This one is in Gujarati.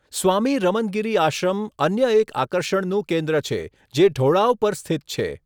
સ્વામી રમનગિરી આશ્રમ અન્ય એક આકર્ષણનું કેન્દ્ર છે, જે ઢોળાવ પર સ્થિત છે.